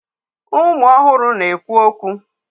Ụmụ ọhụrụ na-ekwu okwu.